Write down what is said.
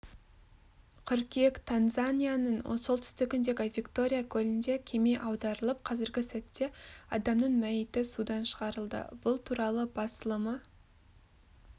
қыркүйек танзанияның солтүстігіндегі виктория көлінде кеме аударылып қазіргі сәтте адамның мәйіті судан шығарылды бұл туралы басылымы